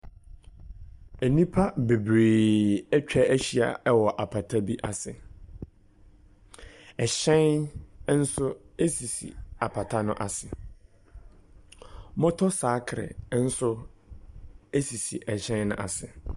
Nnipa bebree atwa ahyia wɔ apata bi ase. Hyɛn nso sisi apata no ase. Moto sakre nso sisi hyɛn no ase.